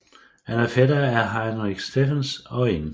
Han er fætter til Heinrich Steffens og N